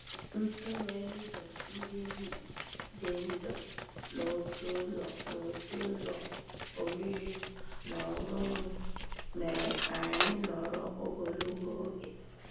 Ntụ́rụ́èndụ́ dị́ ndụ́ n'ótú ụ́lọ́ n'ótú ụ́lọ́ òrìrì ná ọ́nụ́ṅụ́ mérè ká ànyị́ nọ̀rọ́ ògólógó ògé.